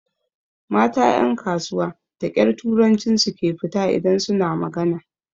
Mata ƴan kasuwa da ƙyar turancin su ke fita idan su na magana.